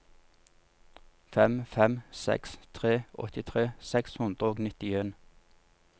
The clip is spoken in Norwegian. fem fem seks tre åttitre seks hundre og nittien